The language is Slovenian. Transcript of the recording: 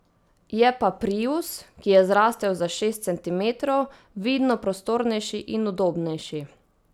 Je pa prius, ki je zrasel za šest centimetrov, vidno prostornejši in udobnejši.